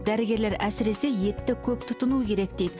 дәрігерлер әсіресе етті көп тұтыну керек дейді